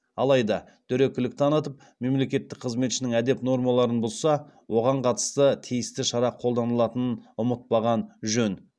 алайда дөрекілік танытып мемлекеттік қызметшінің әдеп нормаларын бұзса оған қатысты тиісті шара қолданылатынын ұмытпаған жөн